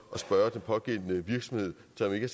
at spørge den pågældende virksomhed som ikke